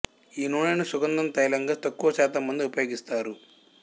ఈ నూనెను సుగంధం తైలంగా తక్కువ శాతం మంది ఉపయోగిస్తారు